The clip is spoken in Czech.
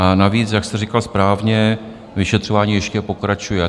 A navíc, jak jste říkal správně, vyšetřování ještě pokračuje.